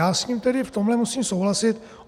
Já s ním tedy v tomhle můžu souhlasit.